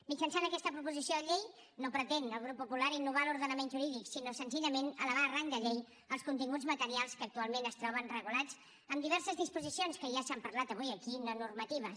mitjançant aquesta proposició de llei no pretén el grup popular innovar l’ordenament jurídic sinó senzillament elevar a rang de llei els continguts materials que actualment es troben regulats en diverses disposicions que ja s’han parlat avui aquí no normatives